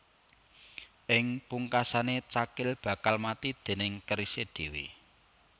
Ing pungkasané cakil bakal mati déning kerisé dhéwé